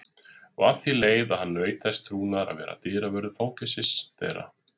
Og að því leið að hann naut þess trúnaðar að vera dyravörður fangelsis þeirra.